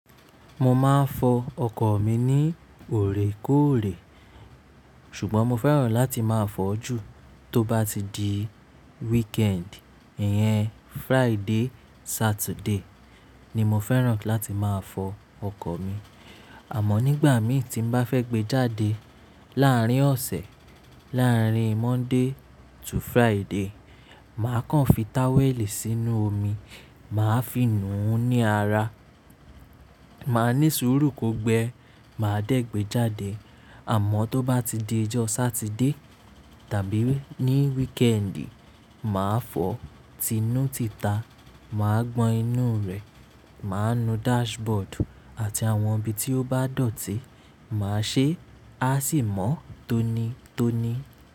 Mo máa ń fọ ọkọ̀ mi ní òorèkóòrè, ṣùgbọ́n mo fẹ́ràn láti máa fọ ju tó bá ti di wikendi Ìyẹn Friday, Saturday ni mo fẹ́ràn láti máa fọ ọkọ̀ mi. Àmọ́ nígbà mí tí n bá fẹ́ gbé jáde láàárín ọ̀sẹ̀, láàárín Monday to Friday, màá kan fi táwẹ́lì sínú omi, màá fi nù ú ní ara, màá ní sùúrù kò gbẹ, màá dẹ́ gbé jáde. Àmọ́ tó bá ti di ọjọ́ Saturday tàbí ní weekend, màá fọ, ti inú ti ta, màá gbọn inú rẹ̀, màá nu dashboard àti àwọn ibi tí ó bá dọ̀tí, màá ṣe, a sì mọ́ tónitóni.